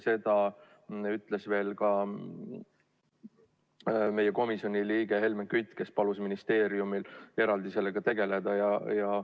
Seda ütles ka meie komisjoni liige Helmen Kütt, kes palus ministeeriumil sellega eraldi tegeleda.